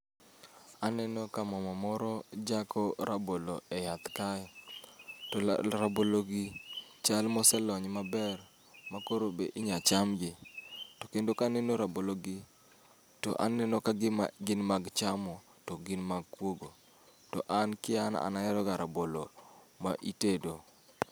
Aneno ka mama moro jako rabolo e yath kae, to la rabolo gi chal moselony maber ma koro be inya cham gi. To kendo kaneno rabolo gi, taneno ka gima gin mag chamo to gin mag kuogo. To an ki an, an aheroga rabolo ma itedo.